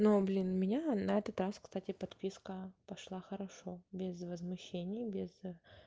ну блин у меня на этот раз кстати подписка пошла хорошо без возмещений без